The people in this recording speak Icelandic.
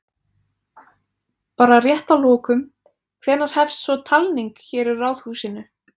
Bara rétt að lokum, hvenær hefst svo talning hér í Ráðhúsinu?